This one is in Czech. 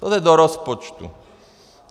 To jde do rozpočtu.